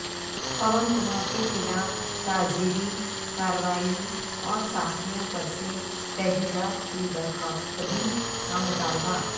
پون کمار کے خلاف تعزیری کارروائی اور صحافیوں پر سے تحدیدات کی برخواستگی کا مطالبہ